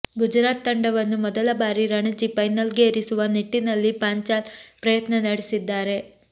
ಗುಜರಾತ್ ತಂಡವನ್ನು ಮೊದಲ ಬಾರಿ ರಣಜಿ ಫೈನಲ್ಗೇರಿಸುವ ನಿಟ್ಟಿನಲ್ಲಿ ಪಾಂಚಾಲ್ ಪ್ರಯತ್ನ ನಡೆಸಿದ್ದಾರೆ